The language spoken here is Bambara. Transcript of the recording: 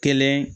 Kelen